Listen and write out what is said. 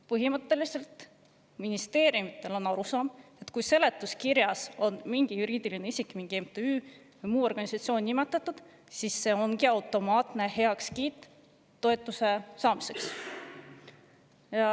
Põhimõtteliselt on ministeeriumidel arusaam, et kui seletuskirjas on mingi juriidiline isik, mingi MTÜ või muu organisatsioon nimetatud, siis see ongi automaatne heakskiit toetuse saamiseks.